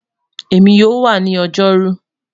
Emi yoo wa ni Ojoru